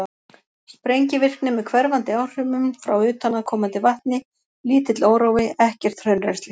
Sprengivirkni með hverfandi áhrifum frá utanaðkomandi vatni, lítill órói, ekkert hraunrennsli.